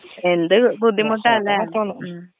എന്ത് ബുദ്ധിമുട്ടാല്ലെ ഉം.